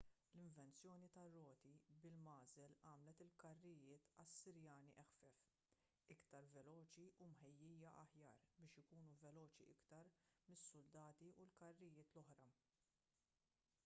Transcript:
l-invenzjoni tar-roti bil-magħżel għamlet il-karrijiet assirjani eħfef iktar veloċi u mħejjija aħjar biex ikunu veloċi iktar mis-suldati u l-karrijiet l-oħra